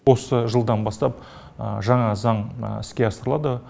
осы жылдан бастап жаңа заң іске асырылады